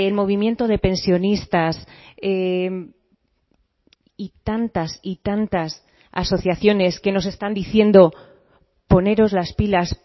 movimiento de pensionistas y tantas y tantas asociaciones que nos están diciendo poneros las pilas